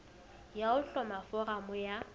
ya ho hloma foramo ya